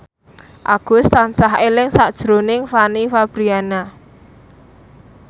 Agus tansah eling sakjroning Fanny Fabriana